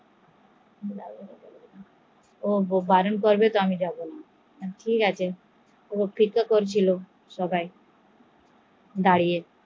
ও বারণ করলে আমি যাবো না, সবাই অপেক্ষা করছিলো সবাই দাঁড়িয়